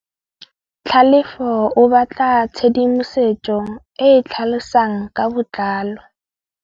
Tlhalefô o batla tshedimosetsô e e tlhalosang ka botlalô.